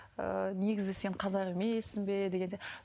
ыыы негізі сен қазақ емессің бе дегенде